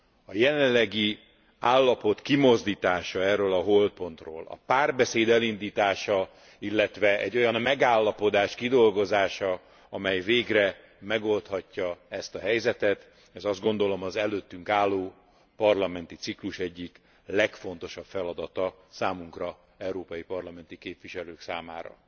A jelenlegi állapot kimozdítása erről a holtpontról a párbeszéd elindítása, illetve egy olyan megállapodás kidolgozása, amely végre megoldhatja ezt a helyzetet, ez azt gondolom, az előttünk álló parlamenti ciklus egyik legfontosabb feladata számunkra, európai parlamenti képviselők számára.